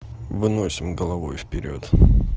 выносим головой вперёд